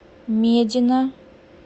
медина